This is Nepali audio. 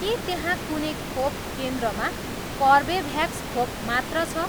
के त्यहाँ कुनै खोप केन्द्रमा कर्बेभ्याक्स खोप मात्र छ?